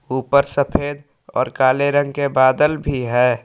ऊपर सफेद और काले रंग के बादल भी है।